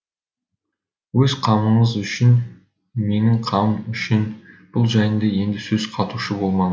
өз қамыңыз үшін менің қамым үшін бұл жайында енді сөз қатушы болмаңыз